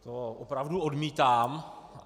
To opravdu odmítám.